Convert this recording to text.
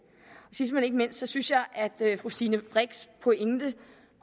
sidst men ikke mindst synes jeg at fru stine brix pointe